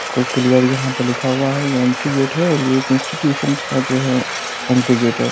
Clear यहां पर लिखा हुआ है ये एंट्री गेट है और ये एक इंस्टिट्यूशन का जो है एंट्री गेट है।